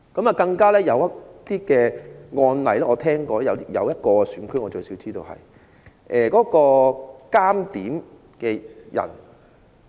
我聽聞有些個案——據我所知至少有一個選區的監察點票的人......